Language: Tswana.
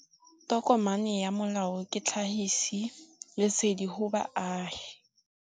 Tokomane ya molao ke tlhagisi lesedi go baagi.